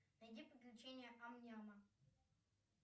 найди приключения амняма